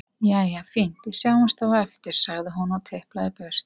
Jæja, fínt, við sjáumst þá á eftir, sagði hún og tiplaði burt.